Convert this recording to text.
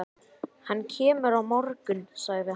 Hann kemur á morgun, sagði hann.